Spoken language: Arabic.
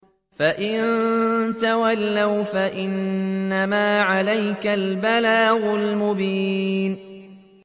فَإِن تَوَلَّوْا فَإِنَّمَا عَلَيْكَ الْبَلَاغُ الْمُبِينُ